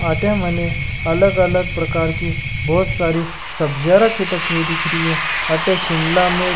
अठे मने अलग अलग प्रकार की बोहोत सारी सब्जिया रखि तकी दिख री है अठे शिमला मिर्च --